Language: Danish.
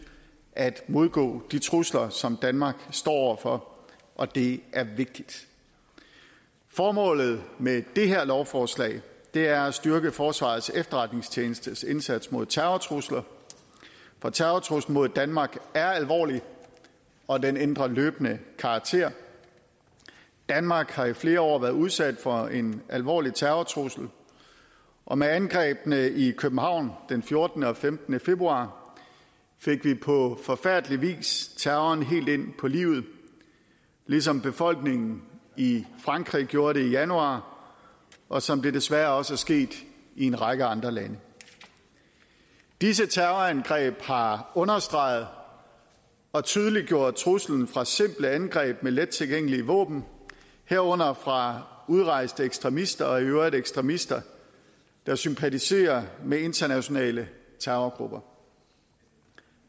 at modgå de trusler som danmark står over for og det er vigtigt formålet med det her lovforslag er at styrke forsvarets efterretningstjenestes indsats mod terrortrusler for terrortruslen mod danmark er alvorlig og den ændrer løbende karakter danmark har i flere år været udsat for en alvorlig terrortrussel og med angrebene i københavn den fjortende og femtende februar fik vi på forfærdelig vis terroren helt ind på livet ligesom befolkningen i frankrig gjorde det i januar og som det desværre også er sket i en række andre lande disse terrorangreb har understreget og tydeliggjort truslen fra simple angreb med lettilgængelige våben herunder fra udrejste ekstremister og i øvrigt ekstremister der sympatiserer med internationale terrorgrupper